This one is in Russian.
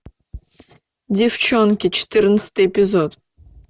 девчонки четырнадцатый эпизод